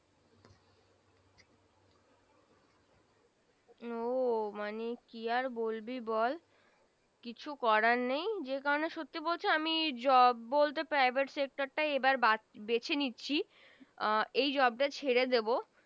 ও মানে কি আর বলবি আর বল কিছু করার নেই যে কারনে সত্যি বলছে আমি Job বলতে Private Sector টাই এই বার বেছে নিচ্ছি এর এই Job টা ছেড়ে দিব